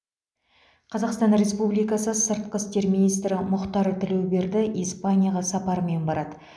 қазақстан республикасы сыртқы істер министрі мұхтар тілеуберді испанияға сапармен барады